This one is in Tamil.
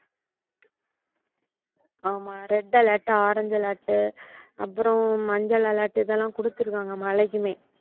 ஆமா red alert orange alert அப்புறம் மஞ்சள் alert இதெல்லாம் கொடுத்திருக்காங்க மழைக்குமே.